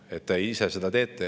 Te ise seda teete.